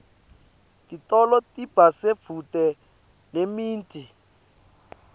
titolo tiba sedvute nemiti